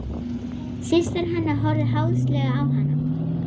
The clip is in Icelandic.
Systir hennar horfði háðslega á hana.